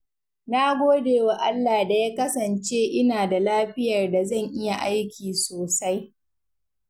Na gode wa Allah da ya kasance ina da lafiyar da zan iya aiki sosai.